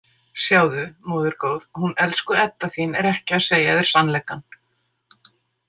Sjáðu, móðir góð, hún elsku Edda þín er ekki að segja þér sannleikann.